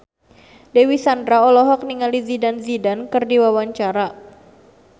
Dewi Sandra olohok ningali Zidane Zidane keur diwawancara